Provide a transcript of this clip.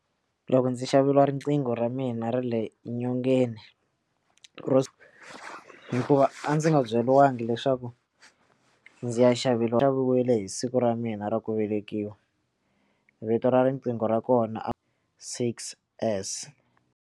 Loko ndzi xaveriwa riqingho ra mina ra le nyongeni ro hikuva a ndzi nga byeriwangi leswaku ndzi ya xaviwa ri xaviwile hi siku ra mina ra ku velekiwa vito ra riqingho ra kona a six S.